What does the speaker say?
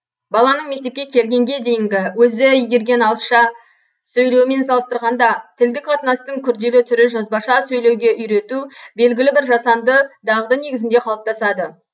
баланың мектепке келгенге дейінгі өзі игерген ауызша сөйлеуімен салыстырғанда тілдік қатынастың күрделі түрі жазбаша сөйлеуге үйрету белгілі бір жасанды дағды негізінде қалыптасады